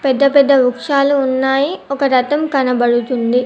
ఇంత పెద్ద వృక్షాలు ఉన్నాయి ఒక రథం కనబడుతుంది.